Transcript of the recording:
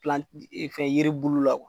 fɛn yiri bulu la